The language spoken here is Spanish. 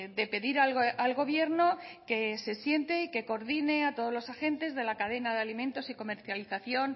de pedir al gobierno que se siente y que coordine a todos los agentes de la cadena de alimentos y comercialización